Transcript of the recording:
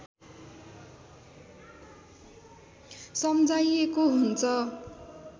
सम्झाइएको हुन्छ